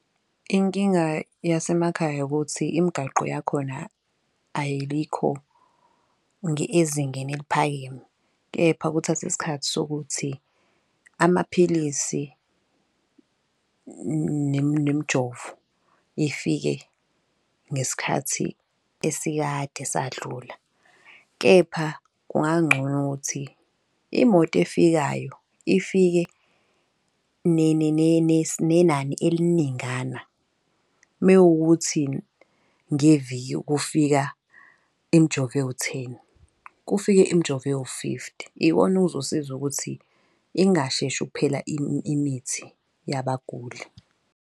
Inkinga yasemakhaya ukuthi imigaqo yakhona ayikho ezingeni eliphakeme. Kepha kuthathi isikhathi sokuthi amaphilisi nemijovo ifike ngesikhathi esikade sadlula, kepha kungangcono ukuthi imoto efikayo ifike nenani eliningana. Mewukuthi ngeviki kufika imijovo ewu-ten kufike imijovo ewu-fifthy ikona okuzosiza ukuthi ingasheshi ukuphela imithi yabaguli.